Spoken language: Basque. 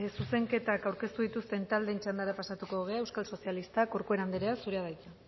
zuzenketak aurkeztu dituzten taldeen txandara pasatuko gara euskal sozialistak corcuera anderea zurea da hitza